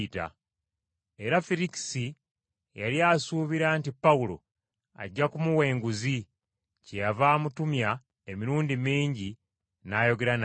Era Ferikisi yali asuubira nti Pawulo ajja kumuwa enguzi, kyeyava amutumya emirundi mingi n’ayogera naye.